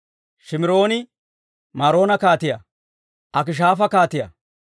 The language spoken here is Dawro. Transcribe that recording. Shimirooni-Maroona kaatiyaa, Akishaafa kaatiyaa,